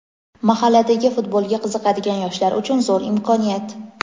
Mahalladagi futbolga qiziqadigan yoshlar uchun zo‘r imkoniyat.